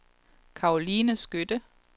Karoline Skytte